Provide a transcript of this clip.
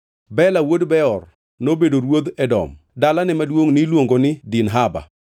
Bela wuod Beor nobedo ruodh Edom. Dalane maduongʼ niluongo ni Dinhaba.